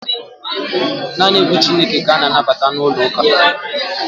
Naanị egwu Chukwu ka a na-anabata n'ụlọ uka